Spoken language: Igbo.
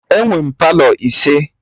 Enwe m Palọ ise